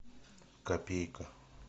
копейка